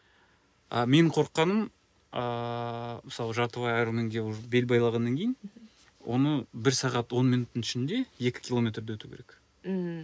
а менің қорыққаным ааа мысалы жартылай аэроменге уже бел байлағаннан кейін оны бір сағат он минуттың ішінде екі километрді өту керек мхм